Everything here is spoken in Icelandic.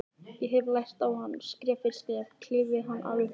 Ég hefði lært á hann, skref fyrir skref, klifið hann alveg upp á topp.